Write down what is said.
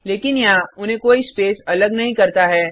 लेकिन यहाँ उन्हें कोई स्पेस अल नहीं करता है